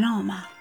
آمد